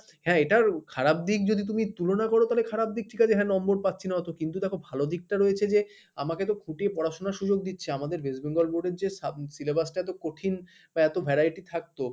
হ্যাঁ এটার খারাপ দিক যদি তুমি তুলনা করো তাহলে খারাপ দিক ঠিক আছে হ্যাঁ number পাচ্ছি না অত কিন্তু দেখো ভালো দিকটা রয়েছে যে আমাকে তো খুঁটিয়ে পড়াশুনার সুযোগ দিচ্ছে আমাদের West Bengal board এর যে syllabus টা এত কঠিন বা এত variety থাকতো